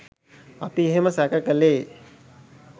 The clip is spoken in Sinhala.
අපි එහෙම සැක කළේ